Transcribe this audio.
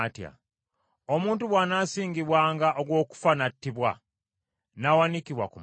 Omuntu bw’anaasingibwanga ogw’okufa n’attibwa, n’awanikibwa ku muti,